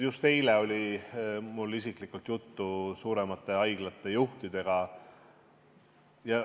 Just eile oli mul isiklikult juttu suuremate haiglate juhtidega.